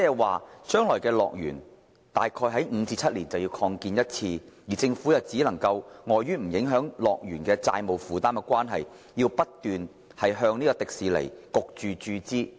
換句話說，樂園大概每5至7年便有需要進行擴建，而在不影響樂園債務負擔的情況下，政府將會被迫不斷向迪士尼注資。